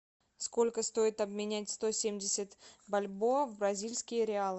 сколько стоит обменять сто семьдесят бальбоа в бразильские реалы